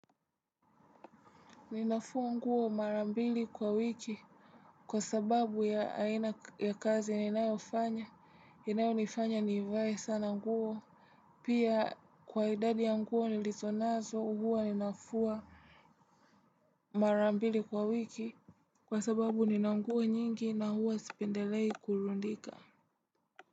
Ninafua nguo mara mbili kwa wiki. Kwa sababu ya aina ya kazi ninayofanya, inayonifanya nivae sana nguo. Pia kwa idadi ya nguo nilizo nazo huwa nafua marambili kwa wiki. Kwa sababu nina nguo nyingi na huwa sipendelei kurudika.